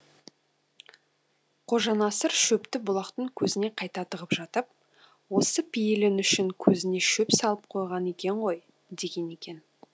қожанасыр шөпті бұлақтың көзіне қайта тығып жатып осы пейілің үшін көзіңе шөп салып қойған екен ғой деген екен